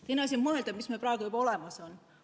Teiseks tuleb mõelda, mis meil praegu juba olemas on.